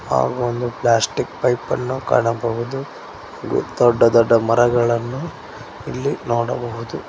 ಹಾಗೂ ಒಂದು plastic pipe ಅನ್ನು ಕಾಣಬಹುದು ದೊಡ್ಡ ದೊಡ್ಡ ಮರಗಳನ್ನು ಇಲ್ಲಿ ನೋಡಬಹುದು.